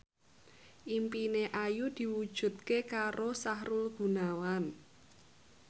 impine Ayu diwujudke karo Sahrul Gunawan